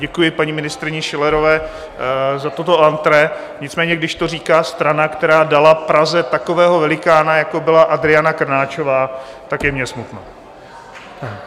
Děkuji paní ministryni Schillerové za toto entrée, nicméně když to říká strana, která dala Praze takového velikána, jako byla Adriana Krnáčová, tak je mně smutno.